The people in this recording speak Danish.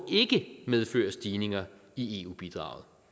medføre stigninger i eu bidraget